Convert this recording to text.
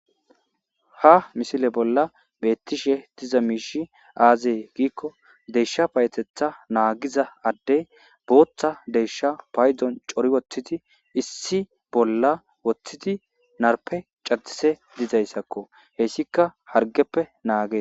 ha misile bolla beettishe diza miishi aazee giikko desha payetetha naagiza addey booththa desha paydon cori woththidi issi bolla woththidi narpe cadise dizayssakko hessika hargeppe naage